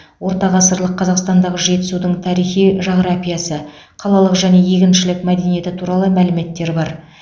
орта ғасырлық қазақстандағы жетісудің тарихи жағрапиясы қалалық және егіншілік мәдениеті туралы мәліметтер бар